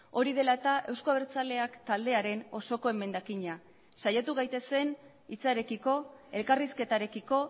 hori dela eta eusko abertzaleak taldearen osoko emendakina saiatu gaitezen hitzarekiko elkarrizketarekiko